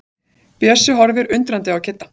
Bjössi horfir undrandi á Kidda.